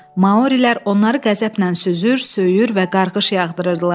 Maorilər onları qəzəblə süzür, söyür və qarğış yağdırırdılar.